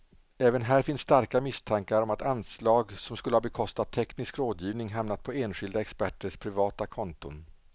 Även här finns starka misstankar om att anslag som skulle ha bekostat teknisk rådgivning hamnat på enskilda experters privata konton.